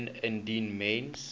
meen indien mens